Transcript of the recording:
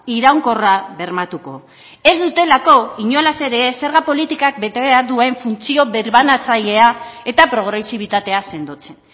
iraunkorra bermatuko ez dutelako inolaz ere ez zerga politikak bete behar duen funtzio birbanatzailea eta progresibitatea sendotzen